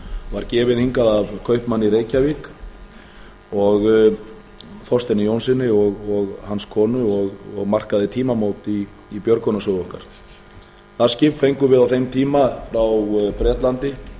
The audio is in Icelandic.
var gefið hingað af kaupmanni í reykjavík þorsteini jónssyni og hans konu og markaði tímamót í björgunarsögu okkar það skip fengum við á þeim tíma frá bretlandi